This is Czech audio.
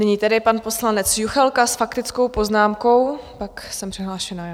Nyní tedy pan poslanec Juchelka s faktickou poznámkou, pak jsem přihlášená já.